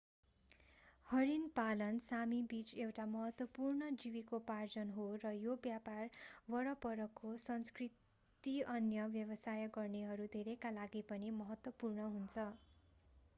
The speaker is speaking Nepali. हरिण पालन सामी बीच एउटा महत्वपूर्ण जीविकोपार्जन हो र यो व्यापार वरपरको संस्कृति अन्य व्यवसाय गर्नेहरू धेरैका लागि पनि महत्त्वपूर्ण छ